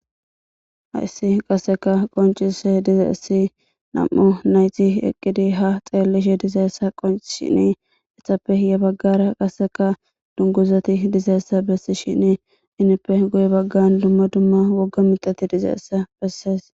hayissi qaseka qoncise diza7issi nam7o nayti eqqidi ha xeellishe dizaeessa qoncishini ethappe hiye baggara qaseka dunguzati dizeessa bessishini inippe goye baggan dumma dumma wogga mixati dizeessa bessees